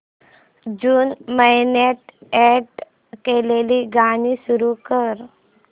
जून महिन्यात अॅड केलेली गाणी सुरू कर